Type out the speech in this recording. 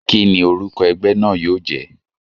Kíni orúkọ egbé náà yío jé?